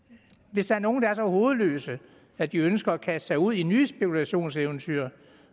hvis der er nogle der er så hovedløse at de ønsker at kaste sig ud i nye spekulationseventyr